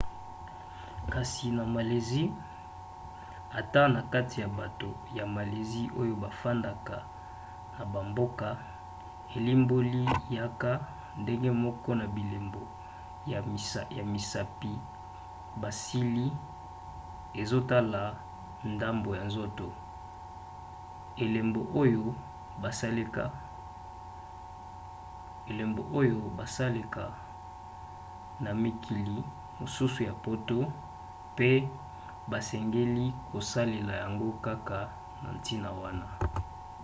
kasi na malaisie ata na kati ya bato ya malaisie oyo bafandaka na bamboka elimboli yaka, ndenge moko na bilembo ya misapi basali ezotala ndambo ya nzoto elembo oyo basaleka na mikili mosusu ya poto pe basengeli kosalela yango kaka na ntina wana